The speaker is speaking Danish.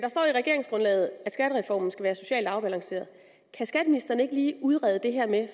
regeringsgrundlaget at skattereformen skal være socialt afbalanceret kan skatteministeren ikke lige udrede det her med at